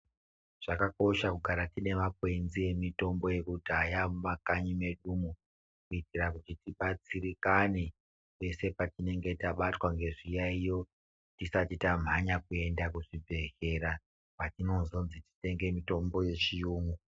Zvaka kosha kugara tine makwenzi e mitombo yekudhaya mu makanyi mwedu mwo kuiitira kuti tibatsirikane pese pati nenge tabatwa nge zviyayiyo tisati tamhanya kuenda ku zvibhedhlera kwatino zonzi titenge mitombo ye chiyungu.